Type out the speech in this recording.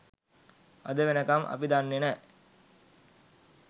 අද වෙනකම් අපි දන්නේ නෑ